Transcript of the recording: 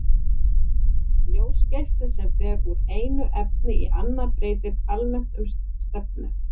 ljósgeisli sem fer úr einu efni í annað breytir almennt um stefnu